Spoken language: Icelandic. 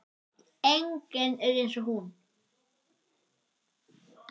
Enginn er eins og hún.